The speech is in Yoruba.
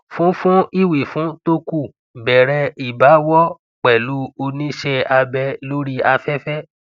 fún fún ìwífún tó kù bẹrẹ ìbáwọ pẹlú onise abe lori afefe